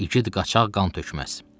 İgid qaçaq qan tökməz.